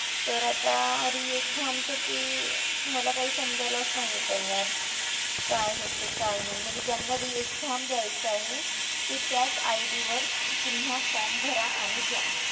तर आता re-exam चं ते मला काही समजायलाच नाहीये तयार काय होतंय काय नाही म्हणजे ज्यांना re-exam द्यायचं आहे ते त्याच ID वर पुन्हा form भरा आणि द्या.